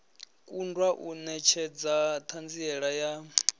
kundwa u netshedza thanziela ya